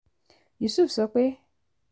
yusuf sọ pé